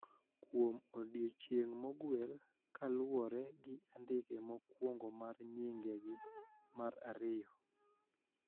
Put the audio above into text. Kuom odiechieng` moguel kaluwore gi andike mokwongo mar nyingegi mar ariyo